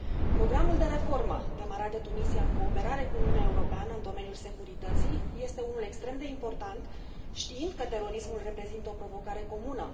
Programul de reformă demarat de Tunisia în cooperare cu Uniunea Europeană în domeniul securității este unul extrem de important, știind că terorismul reprezintă o provocare comună.